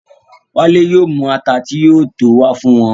Wálé yóò mú àtà tí yóò tó o wà fún o.